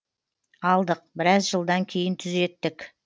алдық біраз жылдан кейін түзеттік